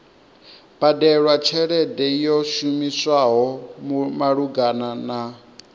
badelwa tshelede yo shumiswaho malugana